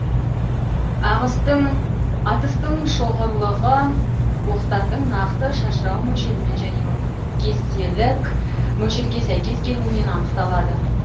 атыстың шоғырлылығы оқтардың нақты шашырау мөлшерімен және оның кестелік мөлшерге сәйкес келуімен анықталады